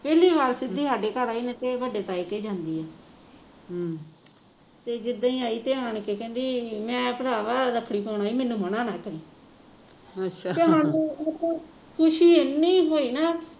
ਪਹਿਲੀ ਵਾਰ ਸਿਧਿ ਸਾਡੇ ਘਰ ਆਈ ਨਹੀਂ ਤੇ ਇਹ ਵੱਡੇ ਤਾਏ ਕੇ ਜਾਂਦੀ ਆ ਤੇ ਜਿੱਦਾਂ ਹੀ ਆਈ ਤੇ ਆਣ ਕੇ ਕਹਿੰਦੀ ਮੈਂ ਭਰਾਵਾ ਰੱਖੜੀ ਪਾਉਣ ਆਈ ਮੈਨੂੰ ਮਨਾ ਨਾ ਕਰੀਂ ਸਾਨੂੰ ਮਤਲਬ ਖੁਸ਼ੀ ਇੰਨੀ ਹੋਈ ਨਾ